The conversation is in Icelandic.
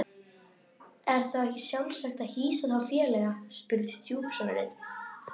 Þá voru kirkjubekkirnir skipaðir eftir efnum og mannvirðingum.